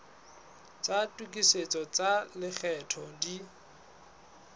tsa tokisetso tsa lekgetho di